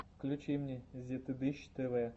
включи мне зетыдыщ тэвэ